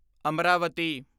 Amaravati